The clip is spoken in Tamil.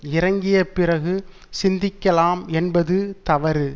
இறங்கிய பிறகு சிந்திக்கலாம் என்பது தவறு